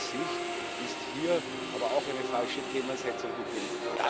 Aus meiner Sicht ist hier aber auch eine falsche Themensetzung gegeben.